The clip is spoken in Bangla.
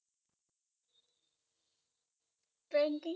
Trekking